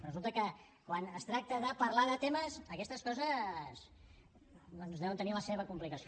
resulta que quan es tracta de parlar de temes aquestes coses doncs deuen tenir la seva complicació